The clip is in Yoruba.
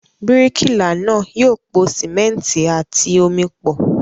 Bíríkìlà náà yóò po sìmẹ́ńtì àti omi pọ̀.